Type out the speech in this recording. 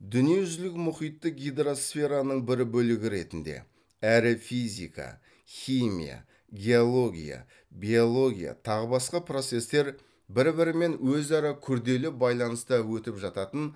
дүниежүзілік мұхитты гидросфераның бір бөлігі ретінде әрі физика химия геология биология тағы басқа процестер бір бірімен өзара күрделі байланыста өтіп жататын